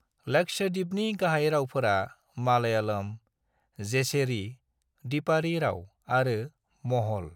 लक्षद्वीपनि गाहाय रावफोरा मालयालम, जेसेरी (दिपआरि राव) आरो महल।